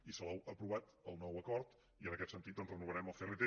i salou ha aprovat el nou acord i en aquest sentit doncs renovarem el crt